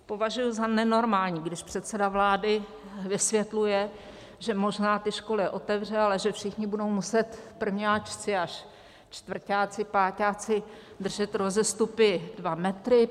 Považuji za nenormální, když předseda vlády vysvětluje, že možná ty školy otevře, ale že všichni budou muset, prvňáčci až čtvrťáci, páťáci držet rozestupy dva metry.